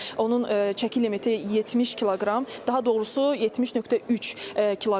Onun çəki limiti 70 kiloqram, daha doğrusu 70.3 kiloqramdır.